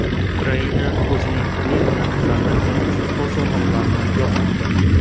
Ukraina o‘zining turli mamlakatlardagi konsulxonalarini yopmoqda.